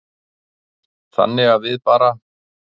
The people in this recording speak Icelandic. Þannig að við bara.